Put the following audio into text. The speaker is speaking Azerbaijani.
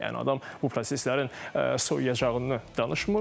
Yəni adam bu proseslərin soyuyacağını danışmır.